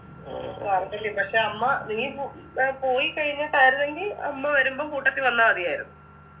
പക്ഷെ അമ്മ നീ പു ഏർ പോയിക്കഴിഞ്ഞട്ടായിരുന്നെങ്കി അമ്മ വരുമ്പം കൂട്ടത്തി വന്നാ മതിയാരുന്ന്